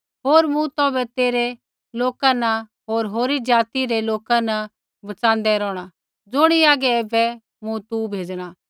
होर मूँ तौभै तेरै लोका न होर होरी ज़ाति रै लोका न बच़ाँदै रौहणा ज़ुणी हागै ऐबै मूँ तू भेज़णा